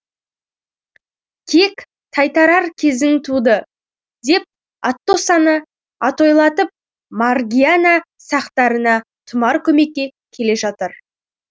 кек тайтарар кезің туды деп атоссаны атойлатып маргиана сактарына тұмар көмекке келе жатыр